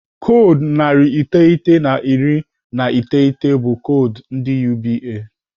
Koodu narị iteghete na iri na iteghete bụ koodu ndị UBA.